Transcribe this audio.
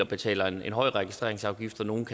betaler en høj registreringsafgift for nogle